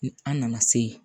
An nana se